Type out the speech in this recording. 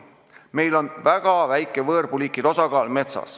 Meil on metsas väga väike võõrpuuliikide osakaal.